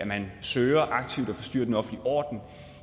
man søger aktivt at forstyrre den offentlige orden